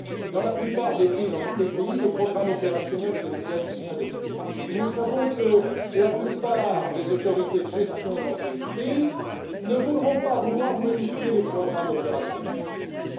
Dans tous les pays, les programmes opérationnels viennent d'être adoptés, et nous savons que la plupart des autorités de gestion de ces pays ne voudront pas que les programmes opérationnels soient modifiés.